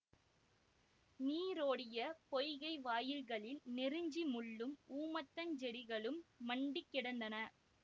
நீரோடிய பொய்கை வாயில்களில் நெருஞ்சி முள்ளும் ஊமத்தஞ் செடிகளும் மண்டிக் கிடந்தன